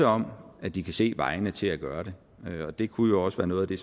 om at de kan se vejene til at gøre det og det kunne jo også være noget af det